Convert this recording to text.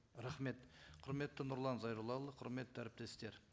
рахмет құрметті нұрлан зайроллаұлы құрметті әріптестер